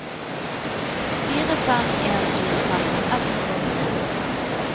fire fem en to femti ett hundre og åttito